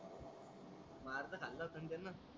खाल असण त्यान.